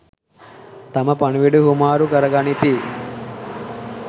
තම පණිවුඩ හුවමාරු කර ගනිති.